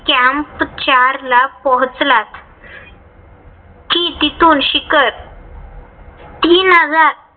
चारला पोहोचलात कि तिथून शिखर तीन हजार